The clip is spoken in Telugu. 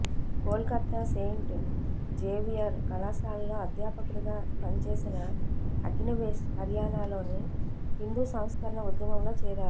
కోల్కత్తా సెయింట్ జేవియర్ కళాశాలలో అధ్యాపకుడిగా పనిచేసిన అగ్నివేష్ హర్యానాలోని హిందూ సంస్కరణ ఉద్యమంలో చేరారు